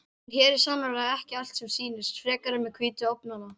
En hér er sannarlega ekki allt sem sýnist, frekar en með hvítu ofnana.